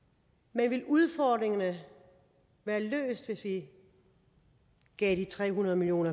men ville udfordringerne være løst hvis vi gav de tre hundrede million